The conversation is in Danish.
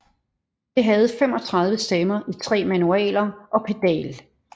Det havde 35 stemmer i 3 manualer og pedal